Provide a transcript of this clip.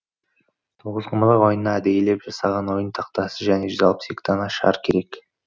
тоғызқұмалақ ойынына әдейілеп жасаған ойын тақтасы және жүз алпыс екі дана шар керек